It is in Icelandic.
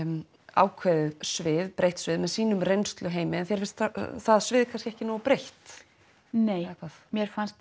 ákveðið svið breytt svið með sínum reynsluheimi en þér finnst það svið kannski ekki nógu breytt nei mér fannst